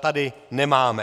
tady nemáme.